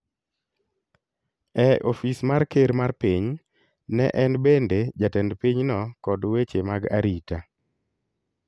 e ofis mar ker mar piny, ne en bende jatend pinyno kod weche mag arita.